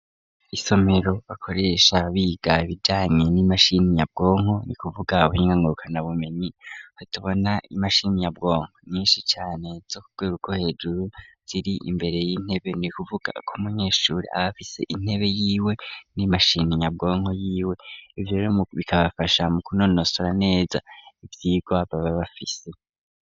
Isomero bakoresha biga bijyanye n'imashininyabwonko .Ni kuvuga abuhinga ngurukana bumenyi hatubona imashini nyabwonko nyinshi cane zo kurwego rwo hejuru ziri imbere y'intebe ni kuvuga ku munyeshuri abafise intebe y'iwe n'imashini nyabwonko y'iwe ivyo rero bikabafasha mu kunonosora neza ibyirgwa bababafise.